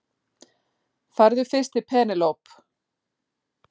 Farðu fyrst til Penélope.